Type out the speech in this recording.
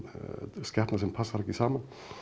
skepna sem passar ekki saman